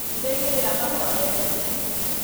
Nĩndaigĩrĩra mahũa metha-inĩ